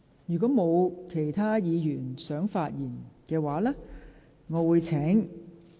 是否有其他議員想發言？